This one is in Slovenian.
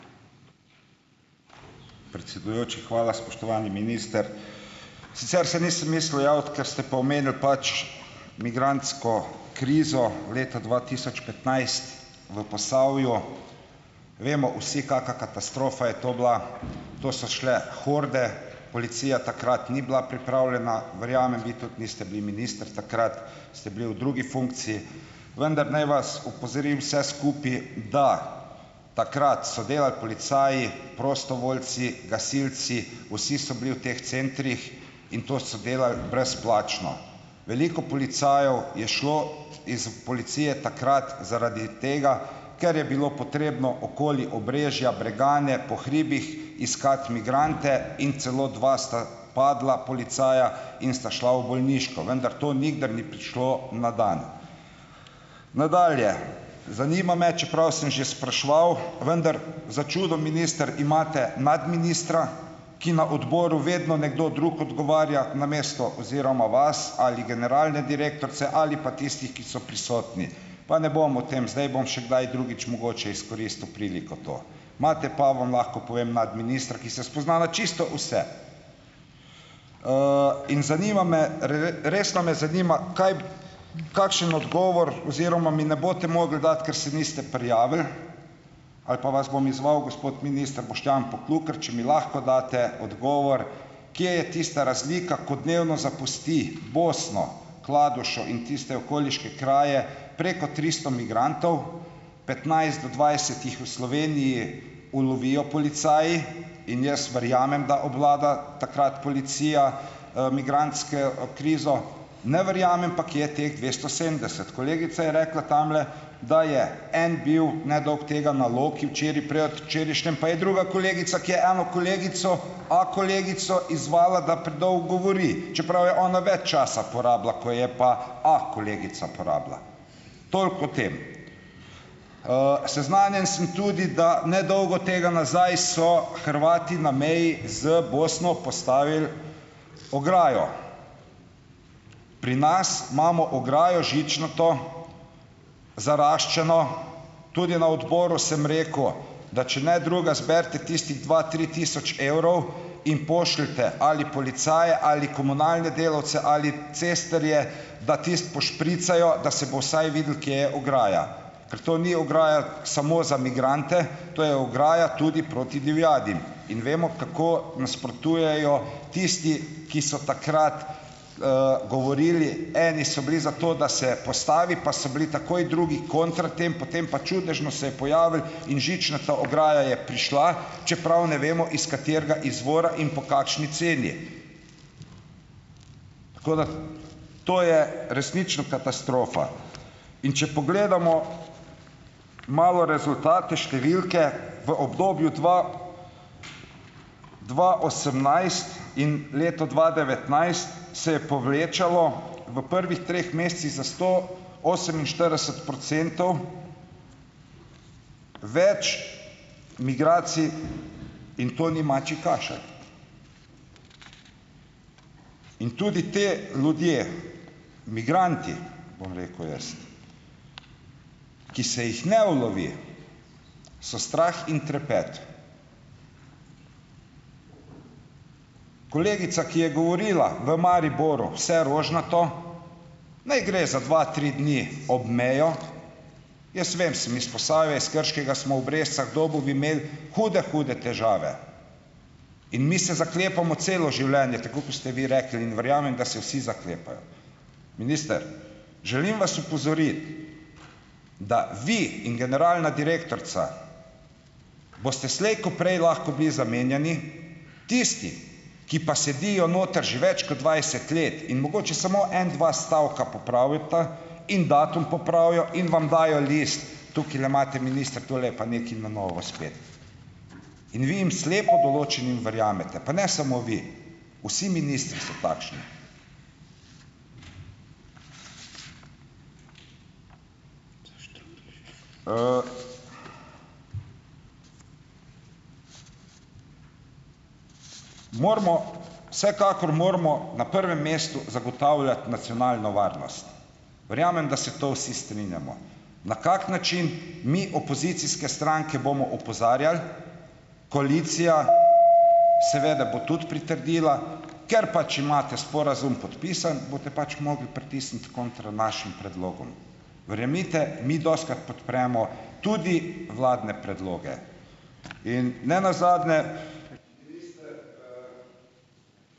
Predsedujoči, hvala, spoštovani minister, sicer se nisem mislil javiti, ker ste pa omenili pač migrantsko krizo leta dva tisoč petnajst v Posavju, vemo vsi, kaka katastrofa je to bila, to so šle horde, policija takrat ni bila pripravljena, verjamem, vi tudi niste bili minister takrat, ste bili v drugi funkciji, vendar naj vas opozorim vse skupaj, da takrat so delali policaji, prostovoljci, gasilci, vsi so bili v teh centrih in to so delali brezplačno, veliko policajev je šlo iz policije takrat zaradi tega, ker je bilo potrebno okoli Obrežja, Bregane po hribih iskati migrante, in celo dva sta padla policaja, in sta šla v bolniško, vendar to nikdar ni prišlo na dan. Nadalje, zanima me, čeprav sem že spraševal, vendar začuda, minister, imate nadministra, ki na odboru vedno nekdo drug odgovarja namesto oziroma vas ali generalne direktorce ali pa tistih, ki so prisotni, pa ne bom o tem zdaj, bom še kdaj drugič mogoče izkoristil priliko to, imate pa, vam lahko povem, nadministra, ki se spozna na čisto vse, in zanima me resno me zanima, kaj, kakšen odgovor oziroma mi ne boste mogli dati, ker se niste prijavili ali pa vas bom izzval, gospod minister Boštjan Poklukar, če mi lahko date odgovor, kje je tista razlika, ko dnevno zapusti Bosno, Kladušo in tiste okoliške kraje preko tristo migrantov, petnajst do dvajset jih v Sloveniji ulovijo policaji, in jaz verjamem, da obvlada takrat policija, migrantsko, krizo, ne verjamem pa, kje je teh dvesto sedemdeset, kolegica je rekla tamle, da je en bil nedolgo tega na Loki včeraj, predvčerajšnjim pa je druga kolegica, ki je eno kolegico, a kolegico izzvala, da predolgo govori, čeprav je ona več časa porabila, ko je pa a kolegica porabila, toliko o tem. seznanjen sem tudi, da nedolgo tega nazaj so Hrvati na meji z Bosno postavili ograjo, pri nas imamo ograjo žičnato, zaraščeno, tudi na odboru sem rekel, da če ne drugega zberite tistih dva tri tisoč evrov in pošljite ali policaje ali komunalne delavce ali cestarje, da tisto pošpricajo, da se bo vsaj videlo, kje je ograja, ker to ni ograja samo za migrante, to je ograja tudi proti divjadi, in vemo, kako nasprotujejo tisti, ki so takrat, govorili, eni so bili za to, da se postavi, pa so bili takoj drugi kontra tem, potem pa čudežno se je pojavil in žičnata ograja je prišla, čeprav ne vemo, iz katerega izvora in po kakšni ceni, tako da to je resnično katastrofa, in če pogledamo malo rezultate, številke, v obdobju dva dva osemnajst in leto dva devetnajst se je povečalo v prvih treh mesecih za sto oseminštirideset procentov več migracij, in to ni mačji kašelj in tudi te ljudje migranti, bom rekel jaz, ki se jih ne ulovi, so strah in trepet, kolegica, ki je govorila v Mariboru vse rožnato, ne gre za dva, tri dni ob mejo, jaz vem, sem iz Posavja, iz Krškega smo v Brežicah dolgo imel hude hude težave in mi se zaklepamo celo življenje, tako ko ste vi rekli, in verjamem, da se vsi zaklepajo, minister, želim vas opozoriti, da vi in generalna direktorica boste slej ko prej lahko bili zamenjani, tisti, ki pa sedijo noter že več kot dvajset let in mogoče samo en dva stavka popravita in datum popravijo in vam dajo list, tukajle imate, minister, tole je pa nekaj na novo spet, in vi jim slepo določenim verjamete, pa ne samo vi, vsi ministri so takšni, Moramo vsekakor, moramo na prvem mestu zagotavljati nacionalno varnost, verjamem, da se to vsi strinjamo, na kak način, mi opozicijske stranke bomo opozarjali, koalicija seveda bo tudi pritrdila, ker pač imate sporazum podpisan, boste pač mogli pritisniti kontra našim predlogom, verjemite mi, dostikrat podpremo tudi vladne predloge in nenazadnje ...